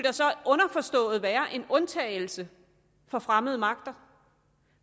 være en undtagelse for fremmede magter